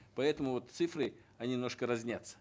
поэтому вот цифры они немножко разнятся